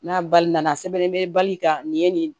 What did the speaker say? N'a bali na a sɛbɛnlen bɛ bali ka nin ye nin